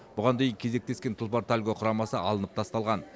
бұған дейін кезектескен тұлпар тальго құрамасы алынып тасталған